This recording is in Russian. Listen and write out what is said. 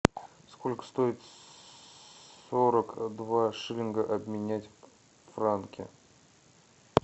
сколько стоит сорок два шиллинга обменять в франки